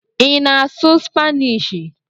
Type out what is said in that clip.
Ị na-asụ Spanishi?